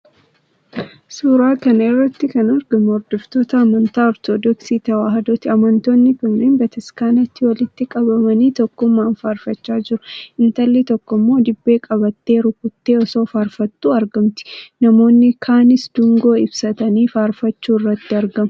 Suuraa kana irratti kan argamu hordoftoota amantaa Ortodoksii Tewaahidooti. Amantoonni kunneen bataskaanatti walitti qabamanii tokkummaan faarfachaa jiru. Intalli tokko immoo dibbee qabattee, rukuttee osoo faarfattuu argamti. Namoonni kaanis dungoo ibsatanii faarfachuu irratti argamu.